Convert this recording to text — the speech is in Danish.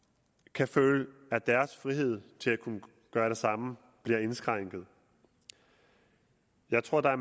kan føle at deres frihed til at kunne gøre det samme bliver indskrænket jeg tror at